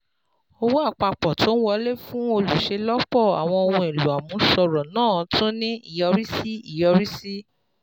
Owó àpapọ̀ tó ń wọlé fún olùṣelọpọ àwọn ohun èlò àmúṣọrọ̀ náà tún ní ìyọrísí ìyọrísí